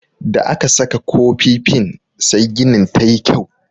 Da aka saka kofifin sai ginin tayi kyau.